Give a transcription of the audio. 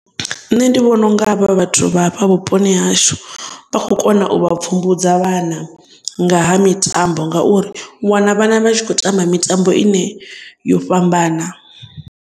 Nṋe ndi vhona unga havha vhathu vha afha vhuponi ha hashu vha kho kona u vha pfhumbudza vhana ngaha mitambo ngauri wana vhana vha tshi khou tamba mitambo ine yo fhambana.